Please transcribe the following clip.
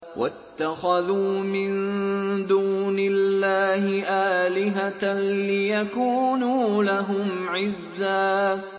وَاتَّخَذُوا مِن دُونِ اللَّهِ آلِهَةً لِّيَكُونُوا لَهُمْ عِزًّا